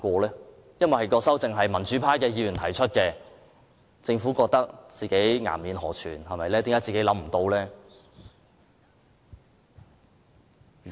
原因是修正案由民主派議員提出，政府覺得自己顏面無存，為何民主派議員想到而自己想不到？